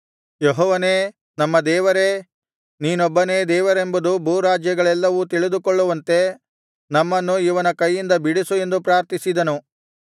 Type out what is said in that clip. ಯೆಹೋವನೇ ನಮ್ಮ ದೇವರೇ ನೀನೊಬ್ಬನೇ ದೇವರೆಂಬುದನ್ನು ಭೂರಾಜ್ಯಗಳೆಲ್ಲವೂ ತಿಳಿದುಕೊಳ್ಳುವಂತೆ ನಮ್ಮನ್ನು ಇವನ ಕೈಯಿಂದ ಬಿಡಿಸು ಎಂದು ಪ್ರಾರ್ಥಿಸಿದನು